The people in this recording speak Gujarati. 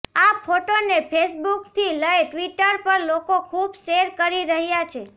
આ ફોટોને ફેસબુકથી લઈ ટ્વિટર પર લોકો ખુબ શેર કરી રહ્યા છે